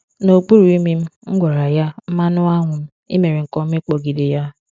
N’okpuru imi m, m gwara ya, "mmanuanwum, i mere nke ọma ịkpọgide ya!"